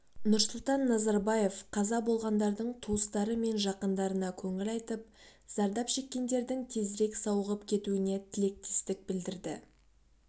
нұрсұлтан назарбаев қаза болғандардың туыстары мен жақындарына көңіл айтып зардап шеккендердің тезірек сауығып кетуіне тілектестік білдірді